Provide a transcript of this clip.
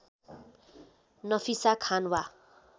नफिसा खान वा